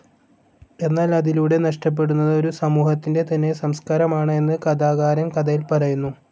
എന്നാൽ അതിലൂടെ നഷ്ടപ്പെടുന്നത് ഒരു സമൂഹത്തിൻ്റെ തന്നെ സംസ്കാരമാണ് എന്ന് കഥാകാരൻ കഥയിൽ പറയുന്നു.